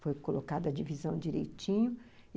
Foi colocada a divisão direitinho.